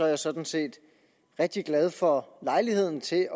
jeg sådan set rigtig glad for lejligheden til at